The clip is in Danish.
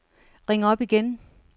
ring op igen